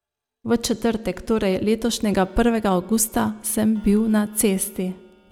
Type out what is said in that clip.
V četrtek, torej letošnjega prvega avgusta, sem bil na cesti.